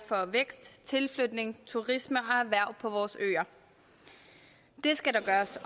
for vækst tilflytning turisme og erhverv på vores øer det skal der gøres